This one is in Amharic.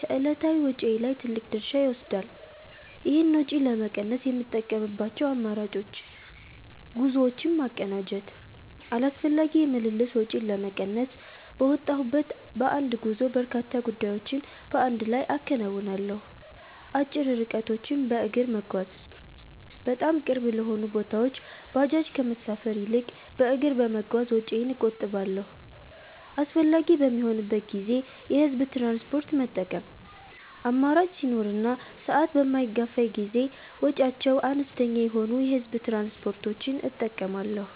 ከዕለታዊ ወጪዬ ላይ ትልቅ ድርሻ ይወስዳል። ይህን ወጪ ለመቀነስ የምጠቀምባቸው አማራጮች፦ ጉዞዎችን ማቀናጀት፦ አላስፈላጊ የምልልስ ወጪን ለመቀነስ፣ በወጣሁበት በአንድ ጉዞ በርካታ ጉዳዮችን በአንድ ላይ አከናውናለሁ። አጭር ርቀቶችን በእግር መጓዝ፦ በጣም ቅርብ ለሆኑ ቦታዎች ባጃጅ ከመሳፈር ይልቅ በእግር በመጓዝ ወጪዬን እቆጥባለሁ። አስፈላጊ በሚሆንበት ጊዜ የህዝብ ትራንስፖርት መጠቀም፦ አማራጭ ሲኖር እና ሰዓት በማይገፋኝ ጊዜ ወጪያቸው አነስተኛ የሆኑ የህዝብ ትራንስፖርቶችን እጠቀማለሁ።